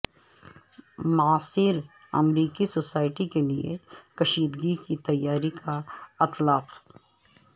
معاصر امریکی سوسائٹی کے لئے کشیدگی کی تیاری کا اطلاق